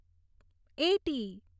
eighty